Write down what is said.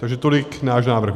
Takže tolik náš návrh.